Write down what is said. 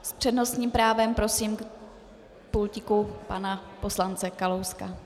S přednostním právem prosím k pultíku pana poslance Kalouska.